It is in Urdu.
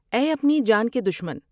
اے اپنی جان کے دشمن!